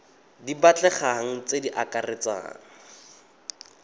di batlegang tse di akaretsang